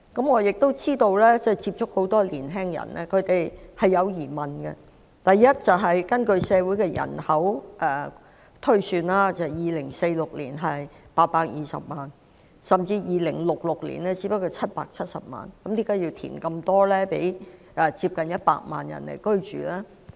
我接觸過很多年青人，知道他們心存疑問，首先，根據推算 ，2046 年的人口是820萬人，到了2066年則只有770萬，為何要大幅填海供接近100萬人居住呢？